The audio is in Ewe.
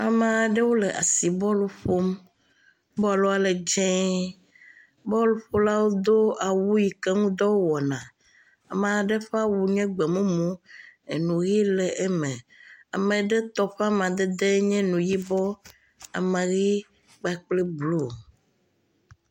Ame aɖewo le asi bɔlu ƒom. Bɔlua le dzie. Bɔlƒolawo do awu yi ke ŋudɔ wo wɔna. Ame aɖe ƒe awu nye gbemumu enu ʋi le eme. Ame aɖe tɔ ƒe amadede nye nu yibɔ ama ʋi kpakple blu.